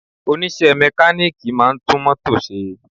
Onise mekaniki máa ń tún mótò se